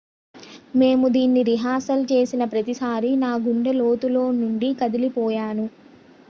"""మేము దీని రిహార్సల్ చేసిన ప్రతిసారీ నా గుండె లోతుల్లో నుండీ కదిలిపోయాను.""